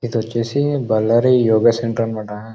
ఇది వచ్చేసి బళ్లారి యోగ సెంటర్ అన్నమాట.